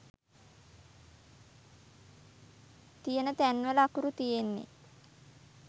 තියන තැන්වල අකුරු තියෙන්නෙ